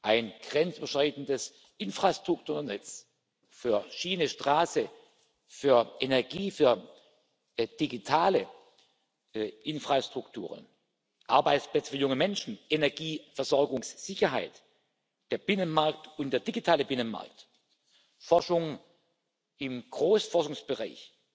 Ein grenzüberschreitendes Infrastrukturnetz für Schiene, Straße, für Energie, für digitale Infrastrukturen, Arbeitsplätze für junge Menschen, Energieversorgungssicherheit, der Binnenmarkt und der digitale Binnenmarkt, Forschung im Großforschungsbereich,